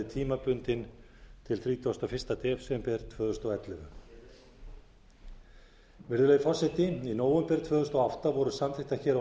tímabundinn til þrítugasta og fyrsta desember tvö þúsund og ellefu virðulegi forseti í nóvember tvö þúsund og átta voru samþykktar hér á